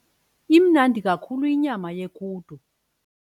Imnandi kakhulu inyama yequdu.